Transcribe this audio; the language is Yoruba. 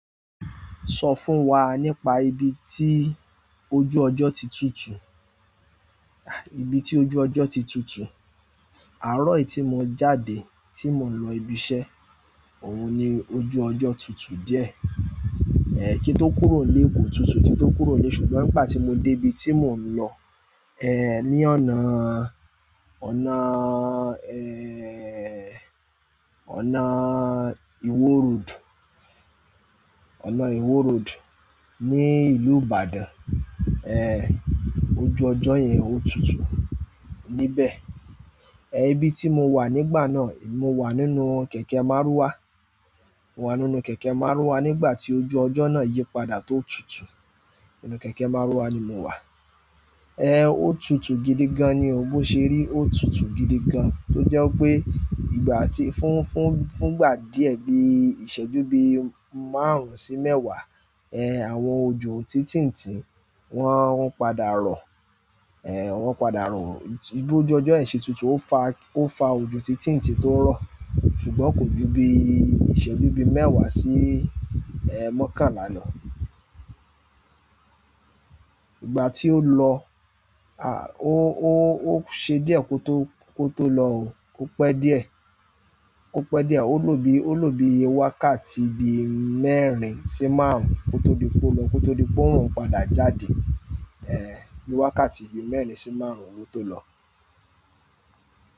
Sọ fún wa nípa ibi tí ojú ọjọ́ ti tutù. Ibi tí ojú ọjọ́ ti tutù, àárọ̀ yìí tí mo jáde tí mò ń lọ ibi iṣẹ́, òun ni ojú ọjọ́ tutù díẹ̀. Kí n tó kúrò ńlé kò tutù kí n tó kúrò ńlé ṣùgbọ́n ńgbà tí mo débi tí mò ń lọ, ní ọ̀nà, ọ̀nà, ọ̀nà ìwó road, ọ̀nà ìwó road ní ìlú Ìbàdàn, ojú ọjọ́ yẹn ó tutù níbẹ̀. Ibi tí mo wà nígbà náà, mo wà nínú kẹ̀kẹ́ márúwá, mo wà nínú kẹ̀kẹ́ márúwá nígbà tí ojú ọjọ́ náà yí padà tó tutù. Nínú kẹ̀kẹ́ márúwá ni mo wà. Ó tutù gidi gan-an ni o, bó ṣe rí ó tutù gidi gan-an. Tó jẹ́ wípé ìgbà tí fún, fún, fúngbà díẹ̀ bí ìṣẹ́jú bí márùn-ún sí mẹ́wàá, àwọn òjò títìǹtín, wọ́n padà rọ̀, wọ́n padà rọ̀. Bí ojú ọjọ́ yìí ṣe tutù ó fa, ó fa òjò títìǹtín tó rọ̀. Ṣùgbọ́n kò ju bí ìṣẹ́jú bí mẹ́wàá sí mọ́kànlá lọ. Ìgbà tí ó lọ, ó, ó, ó ṣe díẹ̀ kó tó, kó tó lọ o. Ó pẹ́ díẹ̀, ó pẹ́ díẹ̀. Ó lò bí, ó lò bí wákàtí bi mẹ́rin sí márùn-ún kó tó di pé ó lọ, kó tó di pé òòrùn padà jáde. Bí wákàtí bi mẹ́rin sí márùn-ún ló tó lọ.